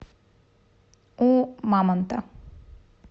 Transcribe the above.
у мамонта